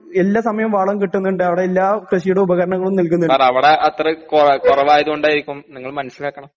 എല്ലാ സമയോം വളം കിട്ടുന്ന്ണ്ട് അവടെയെല്ലാ കൃഷിയുടെ ഉപകരണങ്ങളും നൽക്ന്നിണ്ട്